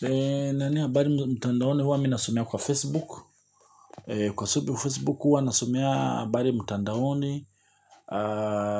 Yani habari mtandaoni huwa mi nasomea kwa Facebook. Kwa sababu ya Facebook huwa nasomea habari mtandaoni